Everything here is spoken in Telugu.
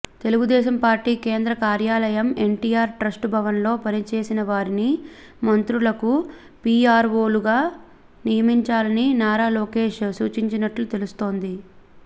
తెలుగుదేశం పార్టీ కేంద్ర కార్యాలయం ఎన్టీఆర్ ట్రస్టు భవన్లో పనిచేసినవారిని మంత్రులకు పిఆర్వోలుగా నియమించాలని నారా లోకేష్ సూచించినట్లు తెలుస్తోంది